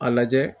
A lajɛ